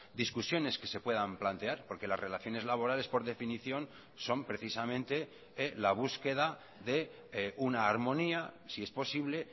discusiones que se puedan plantear porque las relaciones laborales por definición son precisamente la búsqueda de una armonía si es posible